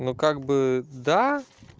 ну как бы да